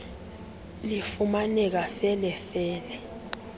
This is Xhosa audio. lifumaneka fele fele